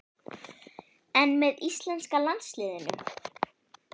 En með íslenska landsliðinu?